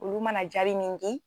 Olu mana jaari min di.